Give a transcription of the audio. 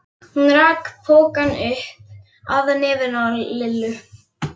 Hún rak pokann upp að nefinu á Lillu.